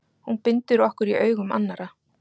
Hún bindur okkur í augum annarra.